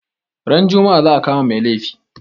Ran juma'a za a kama mai laifi